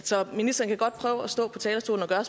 så ministeren kan godt stå på talerstolen og